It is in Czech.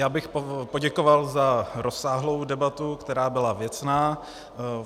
Já bych poděkoval za rozsáhlou debatu, která byla věcná.